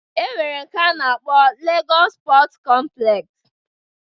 E nwere nke a na-akpọ Legọs Pọt kọmplex